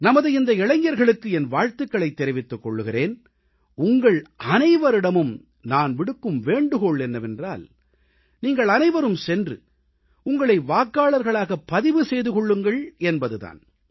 நமது இந்த இளைஞர்களுக்கு என் வாழ்த்துகளைத் தெரிவித்துக் கொள்கிறேன் உங்கள் அனைவரிடமும் நான் விடுக்கும் வேண்டுகோள் என்னவென்றால் நீங்கள் அனைவரும் சென்று உங்களை வாக்காளர்களாகப் பதிவு செய்து கொள்ளுங்கள் என்பது தான்